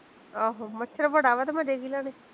ਆਹੋ ਮੱਛਰ ਬੜਾ ਵਾ ਤੇ ਮਜ਼ੇ ਕੀ ਲੈਨੇ